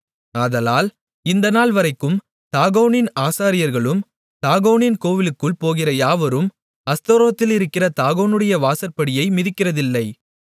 ஆதலால் இந்த நாள்வரைக்கும் தாகோனின் ஆசாரியர்களும் தாகோனின் கோவிலுக்குள் போகிற யாவரும் அஸ்தோத்திலிருக்கிற தாகோனுடைய வாசற்படியை மிதிக்கிறதில்லை